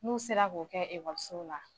N'u sera k'o kɛ ekɔlisow la